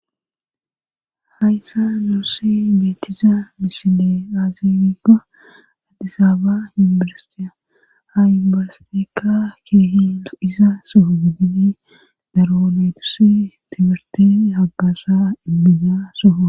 hayssa nuossi beetiza miside aazibiga addisaaba inbalastia ayibalasteka keehi isa soho gidini daraonetussi tibirti hagasha inbina soha